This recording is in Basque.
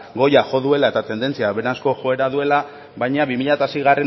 goira jo duela eta tendentzia hoberanzko joera duela baina bi mila seigarrena